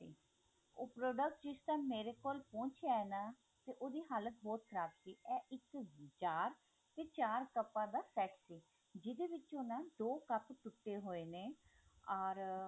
ਉਹ product ਜਿਦਾਂ ਮੇਰੇ ਕੋਲ ਪਹੁੰਚਿਆ ਨਾ ਤੇ ਉਹਦੀ ਹਾਲਤ ਬਹੁਤ ਖਰਾਬ ਸੀ ਉਹ ਇੱਕ jar ਤੇ ਚਾਰ ਕੱਪਾਂ ਦਾ set ਸੀ ਜਿਹਦੇ ਵਿਚੋਂ ਦੋ cup ਟੁੱਟੇ ਹੋਏ ਨੇ ਆਰ